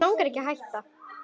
Mig langar ekki að hætta.